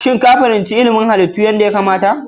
Shin ka fahimci ilimin halittu a aikace yadda ya kamata?